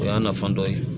O y'a nafa dɔ ye